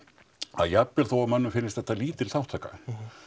að jafnvel þó að mönnum finnist þetta lítil þátttaka